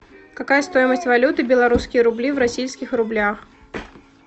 какая стоимость валюты белорусские рубли в российских рублях